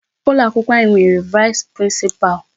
Ụlọ akwụkwọ anyị nwere Vice Principal.